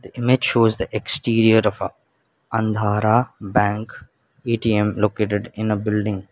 the image shows the exterior of a andhara bank A_T_M located in a building.